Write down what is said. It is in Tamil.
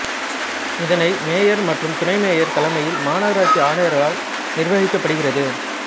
இதனை மேயர் மற்றும் துணை மேயர் தலைமையில் மாநகராட்சி ஆணையாளரால் நிர்வகிக்கபபடுகிறது